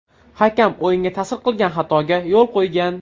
Hakam o‘yinga ta’sir qilgan xatoga yo‘l qo‘ygan.